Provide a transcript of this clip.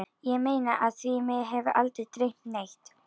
Ég meina af því mig hefur aldrei dreymt neitt.